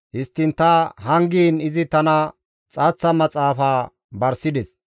Histtiin ta hangiin izi tana xaaththa maxaafa barsides.